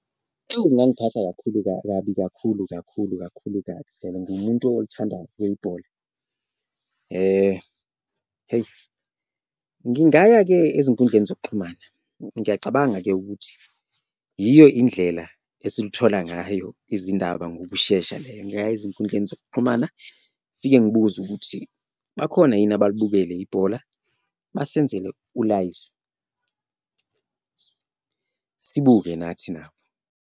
Ewu kungangiphatha kakhulu kabi kakhulu, kakhulu, kakhulu kabi ene nguwumuntu olithandayo ibhola eyi ngingaya-ke ezinkundleni zokuxhumana, ngiyacabanga-ke ukuthi yiyo indlela esiluthola ngayo izindaba ngokushesha leyo. Ngingaya ezinkundleni zokuxhumana fike ngibuze ukuthi bakhona yini abalibukele ibhola, basenzele u-live sibuke nathi nabo.